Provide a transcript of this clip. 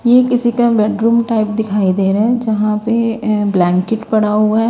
ये किसी कं बेडरूम टाइप दिखाई दे रहा है जहां पेअअ ब्लैंकेट पड़ा हुआ है।